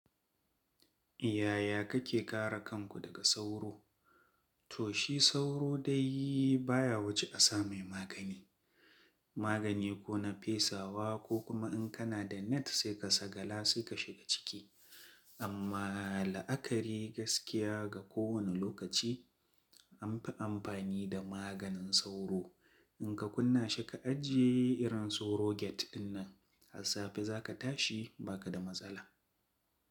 Yaya kake kare kanku daga sauro? To shi sauro dai baya wuce a samai magani. Magani ko na fesawa ko kuma in kana da net sai ka sa kala sai ka shiga ciki. Amma la'akari gaskiya ga kowane lokaci anfi amfani da maganin sauro. In ka kunna shi ka ajiye irin soroget dinnan, a safe za ka tashi ba ka da matsala.